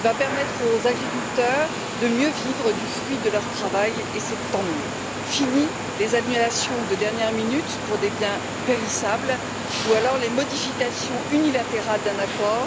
Il va permettre aux agriculteurs de mieux vivre du fruit de leur travail et c'est tant mieux fini les annulations de dernière minute pour des biens périssables ou les modifications unilatérales d'un accord.